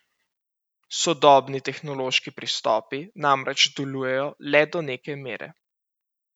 Sodobni tehnološki pristopi namreč delujejo le do neke mere.